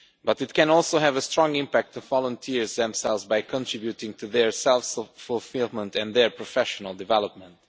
But it can also have a strong impact on the volunteers themselves by contributing to their self fulfilment and their professional development.